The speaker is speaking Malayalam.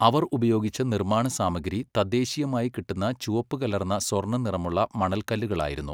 അവർ ഉപയോഗിച്ച നിർമ്മാണ സാമഗ്രി തദ്ദേശീയമായി കിട്ടുന്ന ചുവപ്പുകലർന്ന സ്വർണ്ണനിറമുള്ള മണൽക്കല്ലുകളായിരുന്നു.